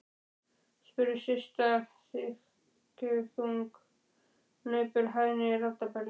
spurði Systa þykkjuþung og brá fyrir napurri hæðni í raddblænum.